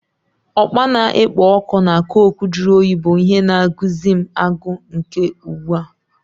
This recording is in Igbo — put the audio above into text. Okpa na-ekpo ọkụ na cokụ jụrụ oyi bụ ihe na-agụsi m agụụ ike ugbu a.